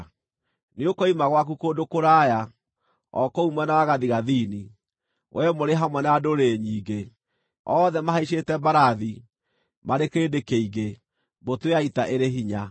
Nĩũkoima gwaku kũndũ kũraya, o kũu mwena wa gathigathini, wee mũrĩ hamwe na ndũrĩrĩ nyingĩ, othe mahaicĩte mbarathi, marĩ kĩrĩndĩ kĩingĩ, mbũtũ ya ita ĩrĩ hinya.